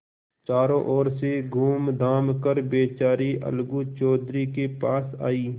चारों ओर से घूमघाम कर बेचारी अलगू चौधरी के पास आयी